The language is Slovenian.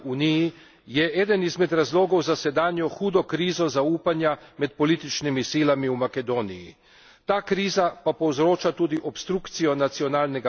Dolgoletni obžalovanja vredni zastoj v približevanju Uniji je eden izmed razlogov za sedanjo hudo krizo zaupanja med političnimi silami v Makedoniji.